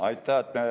Aitäh!